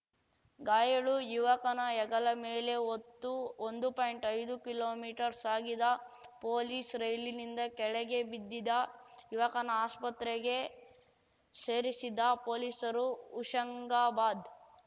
ಗಾಯಾಳು ಯುವಕನ ಹೆಗಲ ಮೇಲೆ ಹೊತ್ತು ಒಂದು ಪಾಯಿಂಟ್ಐದು ಕಿಲೋಮೀಟರ್ ಸಾಗಿದ ಪೊಲೀಸ್‌ ರೈಲಿಂದ ಕೆಳಗೆ ಬಿದ್ದಿದ್ದ ಯುವಕನ ಆಸ್ಪತ್ರೆಗೆ ಸೇರಿಸಿದ ಪೊಲೀಸರು ಹುಶಂಗಾಬಾದ್‌